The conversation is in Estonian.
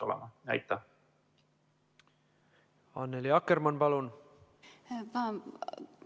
Annely Akkermann, palun!